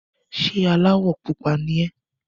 Ṣé aláwọ̀ pupa ni ẹ́?